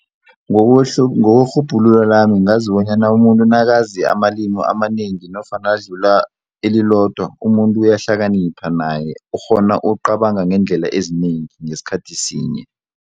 Ngokwerhubhulu lami ngazi bonyana umuntu nakazi amalimi amanengi nofana adlula elilodwa umuntu uyahlakanipha naye ukghona ukucabanga ngeendlela ezinengi ngesikhathi sinye.